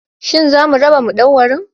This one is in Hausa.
Shin za su raba madauwarin?